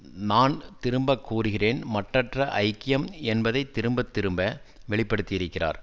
நான் திரும்பக் கூறுகிறேன் மட்டற்ற ஐக்கியம் என்பதை திரும்ப திரும்ப வெளிப்படுத்தியிருக்கிறார்